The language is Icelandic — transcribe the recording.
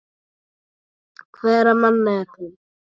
Hverra manna er hún?